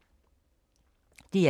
DR2